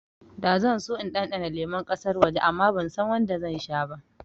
Da zan so in ɗanɗana lemun ƙasar waje amma bansan wanda zan sha ba